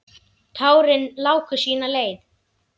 Tárin láku sína leið.